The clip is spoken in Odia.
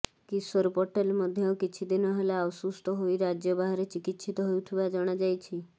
କିଶୋର ପଟେଲ ମଧ୍ୟ କିଛି ଦିନ ହେଲା ଅସୁସ୍ଥ ହୋଇ ରାଜ୍ୟ ବାହାରେ ଚିକିତ୍ସିତ ହେଉଥିବା ଜଣାଯାଇଛି